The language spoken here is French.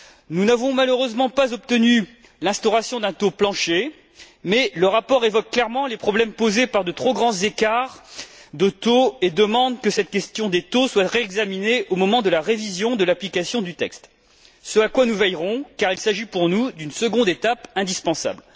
Nous n'avons, malheureusement, pas obtenu l'instauration d'un taux plancher mais le rapport évoque clairement les problèmes posés par de trop grands écarts de taux et demande que cette question des taux soit réexaminée au moment de la révision de l'application du texte, ce à quoi nous veillerons car il s'agit pour nous d'une seconde étape indispensable.